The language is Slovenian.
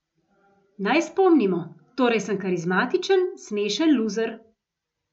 Naj spomnimo: "Torej sem karizmatičen, smešen luzer.